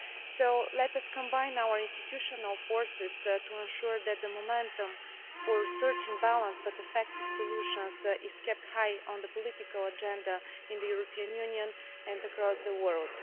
So let us combine our institutional forces to ensure that the momentum for searching for balanced but effective solutions is kept high on the political agenda in the European Union and across the world.